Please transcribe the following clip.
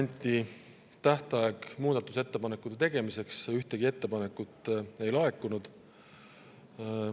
Anti tähtaeg muudatusettepanekute tegemiseks, aga ühtegi ettepanekut ei laekunud.